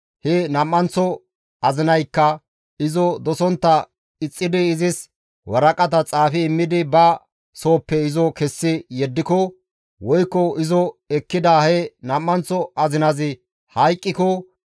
he nam7anththo azinaykka izo dosontta ixxidi izis waraqata xaafi immidi ba sooppe izo kessi yeddiko, woykko izo ekkida he nam7anththo azinazi hayqqiko;